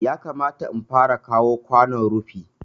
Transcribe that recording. Yakamata in fara kawo kwanon rufi